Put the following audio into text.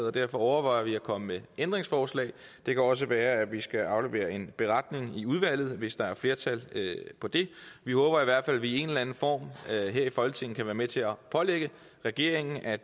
og derfor overvejer vi at komme med ændringsforslag det kan også være at vi skal aflevere en beretning i udvalget hvis der er flertal for det vi håber i hvert fald at vi i en eller anden form her i folketinget kan være med til at pålægge regeringen at